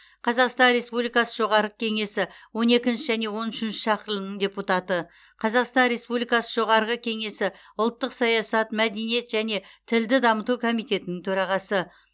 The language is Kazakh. қазақстан республикасы жоғарғы кеңесі он екінші және он үшінші шақырылымының депутаты қазақстан республикасы жоғарғы кеңесі ұлттық саясат мәдениет және тілді дамыту комитетінің төрағасы